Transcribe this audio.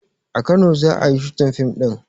A kano za ayi shooting fim ɗin